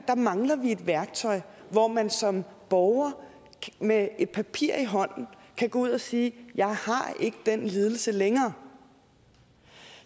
mangler vi et værktøj hvor man som borger med et papir i hånden kan gå ud og sige jeg har ikke den lidelse længere